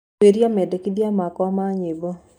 Tuuria medekĩthĩa makwa ma nyĩmbo